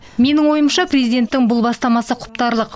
менің ойымша президенттің бұл бастамасы құптарлық